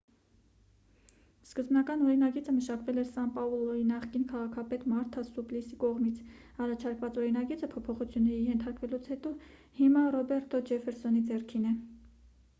սկզբնական օրինագիծը մշակվել էր սան պաուլոյի նախկին քաղաքապետ մարթա սուպլիսի կողմից առաջարկված օրինագիծը փոփոխությունների ենթարկվելուց հետո հիմա ռոբերտո ջեֆֆերսոնի ձեռքին է